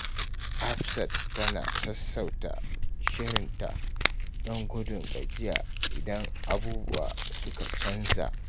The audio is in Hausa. Hafsat tana sassauta shirinta don gudun gajiya idan abubuwa suka canza.